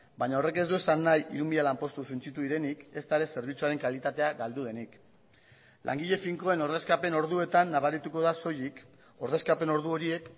baina horrek ez du esan nahi hiru mila lanpostu suntsitu direnik ezta zerbitzuaren kalitatea galdu denik ere langile finkoen ordezkapen orduetan nabarituko da soilik ordezkapen ordu horiek